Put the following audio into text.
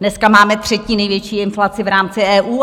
Dneska máme třetí největší inflaci v rámci EU.